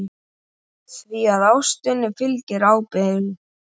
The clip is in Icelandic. Því að ástinni fylgir ábyrgð.